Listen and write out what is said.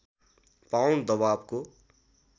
pound दबावको